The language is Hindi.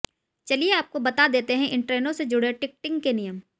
चलिए आपको बता देतें हैं इन ट्रेनों से जुड़े टिकटिंग के नियम